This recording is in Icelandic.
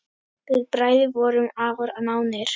Við bræður vorum afar nánir.